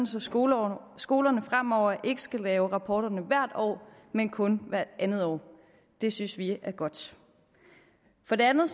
så skolerne skolerne fremover ikke skal lave rapporterne hvert år men kun hvert andet år det synes vi er godt for det andet